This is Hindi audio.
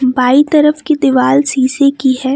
बाई तरफ की दीवाल शीशे की है।